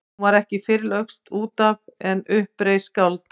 Hún var ekki fyrr lögst út af en upp reis skáld.